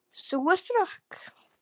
Sú er frökk!